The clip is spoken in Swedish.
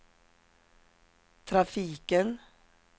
trafiken